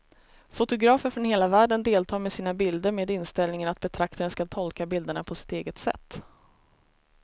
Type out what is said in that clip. Fotografer från hela världen deltar med sina bilder med inställningen att betraktaren ska tolka bilderna på sitt eget sätt.